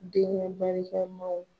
Denkɛ barika maw.